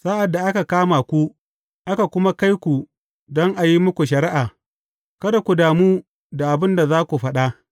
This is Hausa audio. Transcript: Sa’ad da aka kama ku, aka kuma kai ku don a yi muku shari’a, kada ku damu da abin da za ku faɗa.